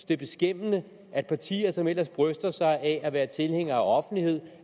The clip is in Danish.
det er beskæmmende at partier som ellers bryster sig af at være tilhængere af offentlighed